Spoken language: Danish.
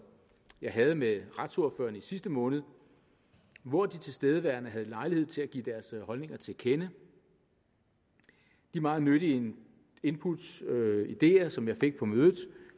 jeg havde med retsordførerne i sidste måned hvor de tilstedeværende havde lejlighed til at give deres holdninger til kende de meget nyttige input og ideer som jeg fik på mødet